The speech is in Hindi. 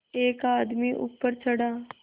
एक आदमी ऊपर चढ़ा